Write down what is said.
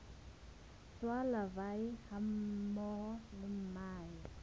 tsa larvae hammoho le mahe